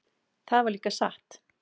Það var líka satt.